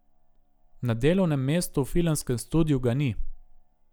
Na delovnem mestu v filmskem studiu ga ni ...